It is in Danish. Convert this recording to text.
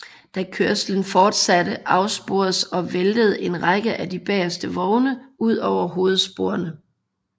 Da kørslen fortsatte afsporedes og væltede en række af de bageste vogne ud over hovedsporene